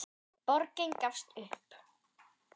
Borgin gafst upp.